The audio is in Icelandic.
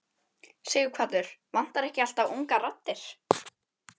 Sighvatur: Vantar ekki alltaf ungar raddir?